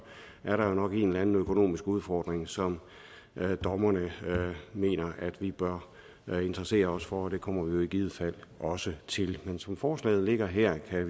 er der jo nok en eller anden økonomisk udfordring som dommerne mener at vi bør interessere os for og det kommer vi i givet fald også til men som forslaget ligger her her